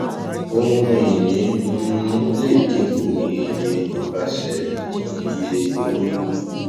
ohunìní um lè dínkù ní iye nípasẹ ìdínníyelórí